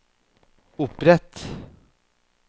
opprett